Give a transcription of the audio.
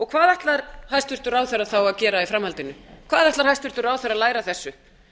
hvað ætlar hæstvirtur ráðherra þá að gera í framhaldinu hvað ætlar hæstvirtur ráðherra að læra af þessu